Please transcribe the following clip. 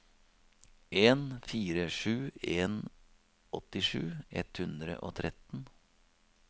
en fire sju en åttisju ett hundre og tretten